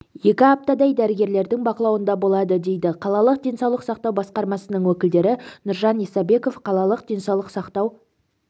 екі аптадай дәрігерлердің бақылауында болады дейді қалалық денсаулық сақтау басқармасының өкілдері нұржан исабеков қалалық денсаулық сақтау